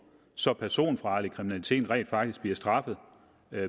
så personfarlig kriminalitet rent faktisk bliver straffet